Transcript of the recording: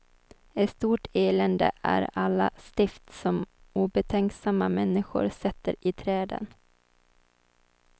Ett stort elände är alla stift som obetänksamma människor sätter i träden.